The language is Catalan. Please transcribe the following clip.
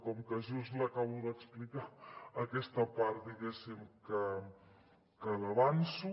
com que just l’acabo d’explicar aquesta part diguéssim l’avanço